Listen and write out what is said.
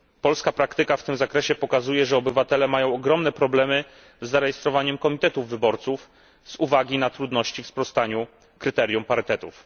Polska praktyka w tym zakresie pokazuje, że obywatele mają ogromne problemy z zarejestrowaniem komitetów wyborców z uwagi na trudności w sprostaniu kryteriom parytetów.